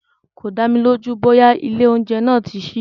Kò dámi lójú bóyá ilé oúnjẹ náà tí sí.